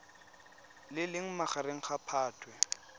le leng magareng ga phatwe